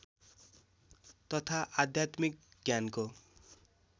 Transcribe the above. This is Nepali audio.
तथा आध्यात्मिक ज्ञानको